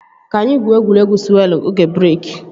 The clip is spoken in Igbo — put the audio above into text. Ka anyị gwuo egwuregwu sụwelụ oge breeki